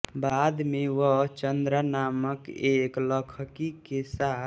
बाद में वह चन्द्रा नामक ऐक लखकी के साथ